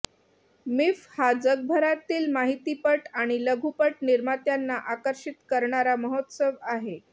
मिफ्फ हा जगभरातील माहितीपट आणि लघुपट निर्मात्यांना आकर्षित करणारा महोत्सव आहे